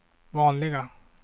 vanliga